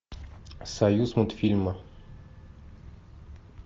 союз мультфильма